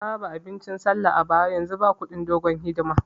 Na raba abincin sallah a bara, yanzu ba kudin dogon hidima